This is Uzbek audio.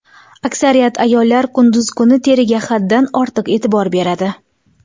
Aksariyat ayollar kunduz kuni teriga haddan ortiq e’tibor beradi.